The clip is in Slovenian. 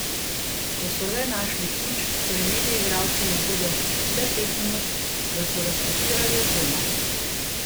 Ko so le našli ključ, so imeli igralci na voljo le pet minut, da so razpakirali opremo.